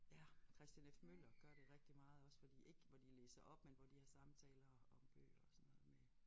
Ja Kristian F. Møller gør det rigtig meget også fordi ikke hvor de læser op men hvor de har samtaler om bøger og sådan noget med